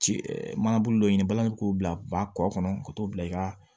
Ci e mana bolo dɔ ɲini balani k'o bila ba kɔ kɔnɔ ka t'o bila i ka